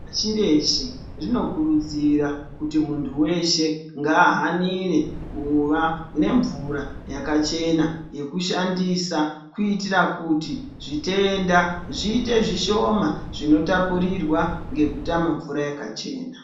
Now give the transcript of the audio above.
Pashi reshe zvinokurudzirwa kuti muntu weshe ngaahanire kuva nemvura yakachena yekushandisa kuitira kuti zvitenda zviite zvishoma zvinotapukirwa ngekutama mvura yakachena.